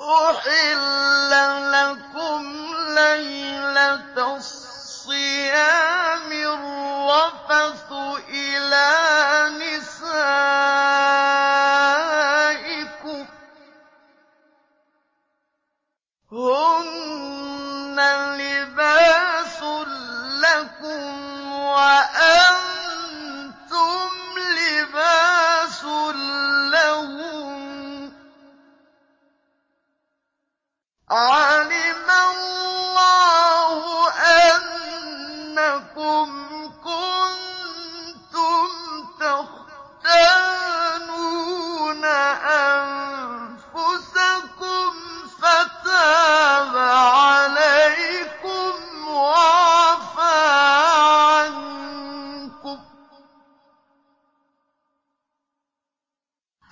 أُحِلَّ لَكُمْ لَيْلَةَ الصِّيَامِ الرَّفَثُ إِلَىٰ نِسَائِكُمْ ۚ هُنَّ لِبَاسٌ لَّكُمْ وَأَنتُمْ لِبَاسٌ لَّهُنَّ ۗ عَلِمَ اللَّهُ أَنَّكُمْ كُنتُمْ تَخْتَانُونَ أَنفُسَكُمْ فَتَابَ عَلَيْكُمْ وَعَفَا عَنكُمْ ۖ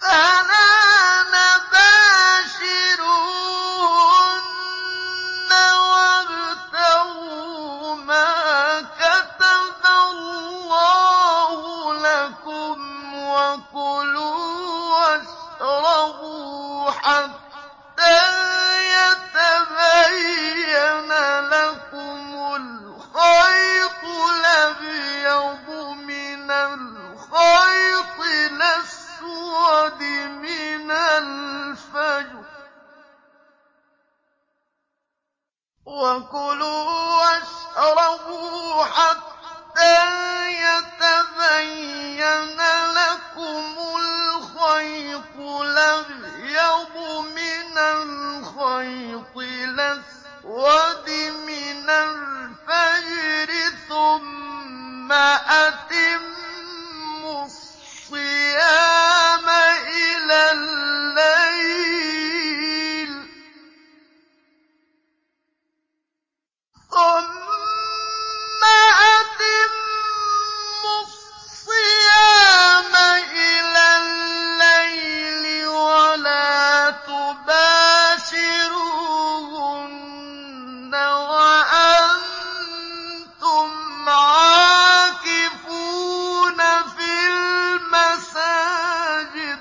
فَالْآنَ بَاشِرُوهُنَّ وَابْتَغُوا مَا كَتَبَ اللَّهُ لَكُمْ ۚ وَكُلُوا وَاشْرَبُوا حَتَّىٰ يَتَبَيَّنَ لَكُمُ الْخَيْطُ الْأَبْيَضُ مِنَ الْخَيْطِ الْأَسْوَدِ مِنَ الْفَجْرِ ۖ ثُمَّ أَتِمُّوا الصِّيَامَ إِلَى اللَّيْلِ ۚ وَلَا تُبَاشِرُوهُنَّ وَأَنتُمْ عَاكِفُونَ فِي الْمَسَاجِدِ ۗ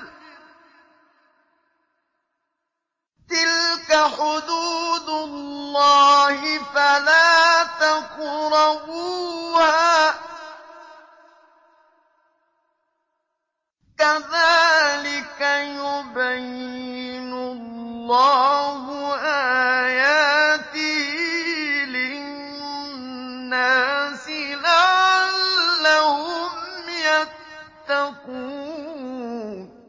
تِلْكَ حُدُودُ اللَّهِ فَلَا تَقْرَبُوهَا ۗ كَذَٰلِكَ يُبَيِّنُ اللَّهُ آيَاتِهِ لِلنَّاسِ لَعَلَّهُمْ يَتَّقُونَ